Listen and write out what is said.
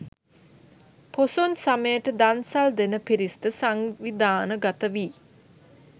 පොසොන් සමයට දන්සල් දෙන පිරිස්ද සංවිධාන ගතවී